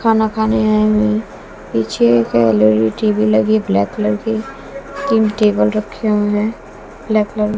खाना खाने आएं हुए है। पीछे एक टी_वी लगी हुई है ब्लैक कलर की तीन टेबल रखे हुए हैं ब्लैक कलर --